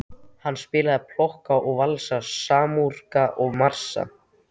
Hann spilaði polka og valsa, masúrka og marsa.